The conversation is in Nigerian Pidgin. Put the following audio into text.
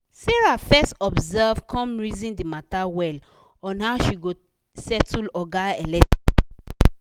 sarah fes observe come reason d matter well on how she go settle oga electric